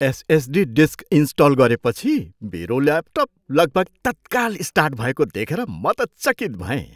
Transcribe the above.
SSD disk install गरेपछि मेरो laptop लगभग तत्काल स्टार्ट भएको देखेर म त चकित भएँ।